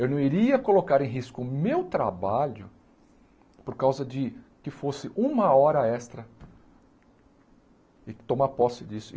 Eu não iria colocar em risco o meu trabalho por causa de que fosse uma hora extra e tomar posse disso.